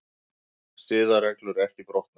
Siðareglur ekki brotnar